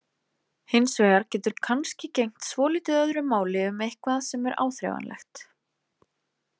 Hins vegar getur kannski gegnt svolítið öðru máli um eitthvað sem er áþreifanlegt.